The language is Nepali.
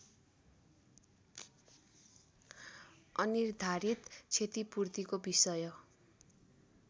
अनिर्धारित क्षतिपूर्तिको विषय